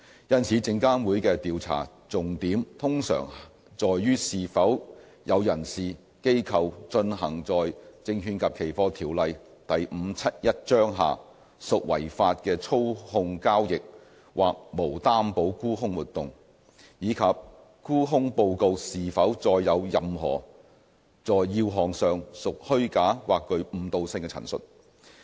因此，證監會的調查重點通常在於是否有人士/機構進行在《證券及期貨條例》下屬違法的操縱交易或無擔保沽空活動，以及沽空報告是否載有任何在要項上屬虛假或具誤導性的陳述。